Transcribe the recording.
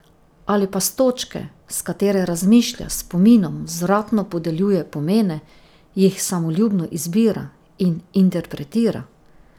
Ali pa s točke, s katere razmišlja, spominom vzvratno podeljuje pomene, jih samoljubno izbira in interpretira?